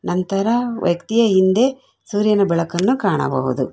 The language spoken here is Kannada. ಅಂತರ ವ್ಯಕ್ತಿಯ ಹಿಂದೆ ಸೂರ್ಯನ ಬೆಳಕನ್ನು ಕಾಣಬಹುದು.